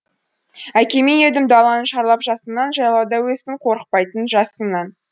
әкеме едім даланы шарлап жасымнан жайлауда өстім қорықпайтынмын жасыннан